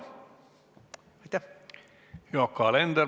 Yoko Alender, palun!